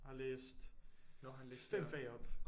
Og læst 5 fag op